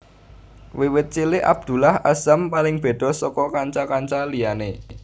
Wiwit cilik Abdullah Azzam paling beda saka kanca kanca liyane